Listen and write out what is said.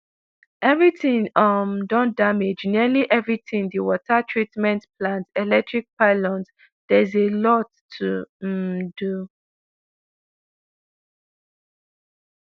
everytin um don damage nearly everytin di water treatment plant electric pylons theres a lot to um do